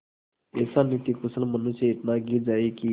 ऐसा नीतिकुशल मनुष्य इतना गिर जाए कि